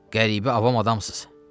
Qəribə avam adamsız.